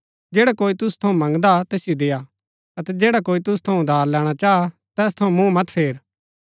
जैडा कोई तुसु थऊँ मंगदा तैसिओ देआ अतै जैडा कोई तुसु थऊँ उधार लैणा चाह तैस थऊँ मुँह मत फेर